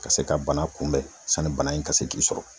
Ka se ka bana in kunbɛn sanni bana in ka se k'i sɔrɔ